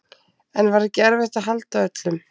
En var ekki erfitt að halda öllum?